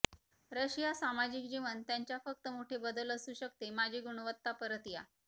Russia सामाजिक जीवन त्यांच्या फक्त मोठे बदल असू शकते माजी गुणवत्ता परत या